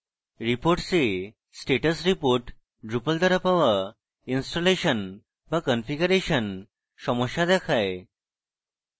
reports এ status report drupal দ্বারা পাওয়া ইনস্টলেশন বা কনফিগারেশন সমস্যা দেখায়